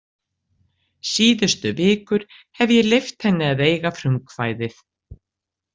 Síðustu vikur hef ég leyft henni að eiga frumkvæðið.